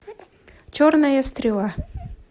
черная стрела